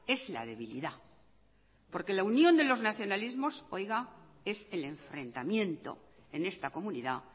es la debilidad porque la unión de los nacionalismos es el enfrentamiento en esta comunidad